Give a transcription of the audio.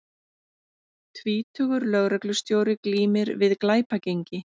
Tvítugur lögreglustjóri glímir við glæpagengi